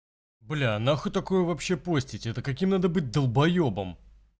бля нахуй такое вообще постить это каким надо быть долбаёбом